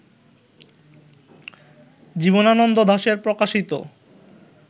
জীবনানন্দ দাশের প্রকাশিত